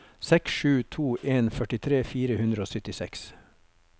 seks sju to en førtitre fire hundre og syttiseks